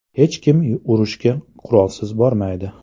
Hech kim urushga qurolsiz bormaydi.